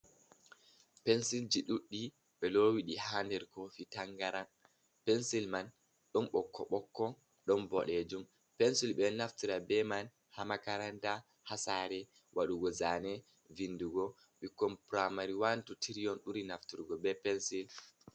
Pensil ji ɗuɗɗi ɓe lowidi ha nder kofi tangaram, pensil man ɗon ɓokko-ɓokko ɗon boɗejum, pensil ɓe naftra be man ha makaranta, ha sare wadugo zane, vindugo ɓikkon puramari wan, tu, tiri ɓuri nafturgo be pensil.